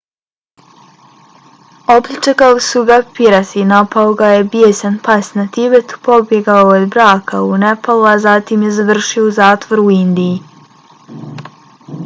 opljačkali su ga pirati napao ga je bijesan pas na tibetu pobjegao je od braka u nepalu a zatim je završio u zatvoru u indiji